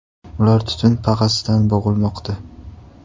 Ular tutun pag‘asidan bo‘g‘ilmoqda.